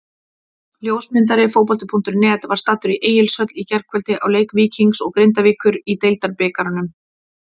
Ljósmyndari Fótbolti.net var staddur í Egilshöll í gærkvöldi á leik Víkings og Grindavíkur í Deildabikarnum.